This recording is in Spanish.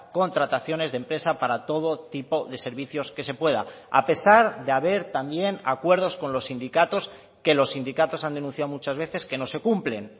contrataciones de empresa para todo tipo de servicios que se pueda a pesar de haber también acuerdos con los sindicatos que los sindicatos han denunciado muchas veces que no se cumplen